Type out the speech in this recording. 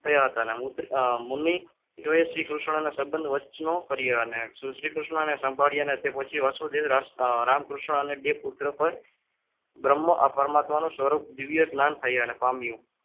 થયા હતા શ્રીકૃષ્ણને સદન વચનો કહ્યા અને શ્રીકૃષ્ણને સંભાળીએપછી વાસુદેવ રામકૃષ્ણ અને બે પુત્ર બ્રહ્મા પરમાત્માનું સ્વરૂપ દિવ્ય જ્ઞાન થયા અને પામ્યું.